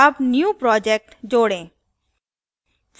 add new project now project जोड़ें